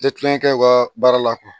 Tɛ kulonkɛ kɛ u ka baara la